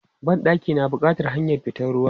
Ban ɗaki na bukatan hanyar fitan ruwa.